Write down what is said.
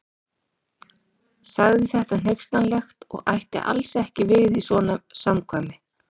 Sagði þetta hneykslanlegt og ætti alls ekki við í svona samkvæmi.